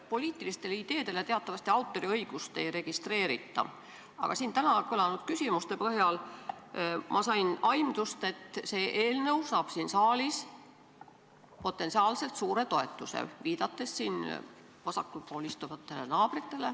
Poliitiliste ideede autoriõigust teatavasti ei registreerita, aga siin täna kõlanud küsimuste põhjal sain ma aimdust, et see eelnõu saab siin saalis potentsiaalselt suure toetuse .